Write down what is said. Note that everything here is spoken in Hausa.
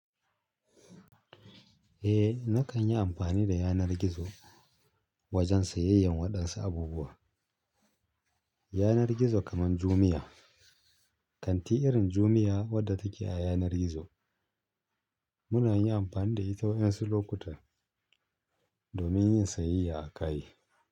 Eh, na kan yi amfani da yanar gizo wajen sayayyan waɗansu abubuwa. Yanar gizo kaman Jumia, kanti irin Jumia wadda take a yanar gizo muna yin amfani da ita wasu lokuta domin yin sayayya akayi.